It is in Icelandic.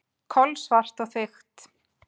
Kolsvart og þykkt.